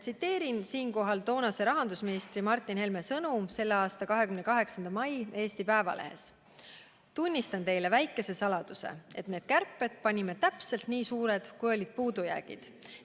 Tsiteerin toonase rahandusministri Martin Helme sõnu, mis ilmusid 28. mail Eesti Päevalehes: "Tunnistan teile väikese saladuse, et need kärped panime täpselt nii suured, kui olid puudujäägid.